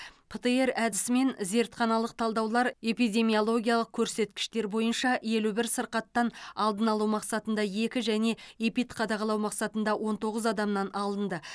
птр әдісімен зертханалық талдаулар эпидемиологиялық көрсеткіштер бойынша елу бір сырқаттан алдын алу мақсатында екі және эпидқадағалау мақсатында он тоғыз адамнан алынды